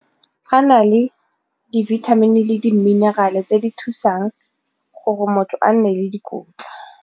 A na le dibithamini le di-mineral-e tse di thusang gore motho a nne le dikotla.